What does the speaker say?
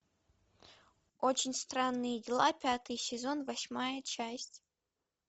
очень странные дела пятый сезон восьмая часть